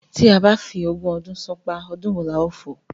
Tí a bá fi ogún ọdún ṣánpá, ọdún wo la ó fò?